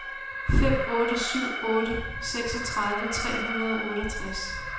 fem otte syv otte seksogtredive tre hundrede og otteogtres